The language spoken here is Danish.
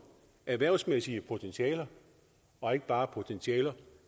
erhvervsmæssige potentialer og ikke bare potentialer